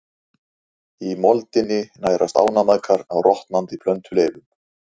Í moldinni nærast ánamaðkar á rotnandi plöntuleifum.